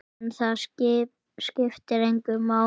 En það skiptir engu máli.